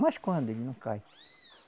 Mas quando ele não cai?